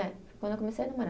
É, quando eu comecei a namorar.